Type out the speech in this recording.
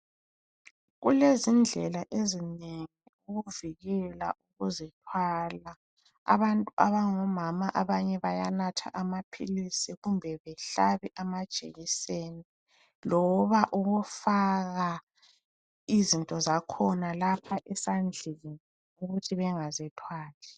Kulezindlela ezinengi ukuvikela ukuzithwala. Abantu abangomama abanye bayanatha amaphilisi kumbe behlabe amajekiseni, loba ukufaka izinto zakhona lapha esandleni ukuthi bengazithwali.